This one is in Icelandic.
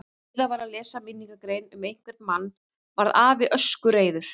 gjóskan er dökkleit basaltgjóska og féll á um helming landsins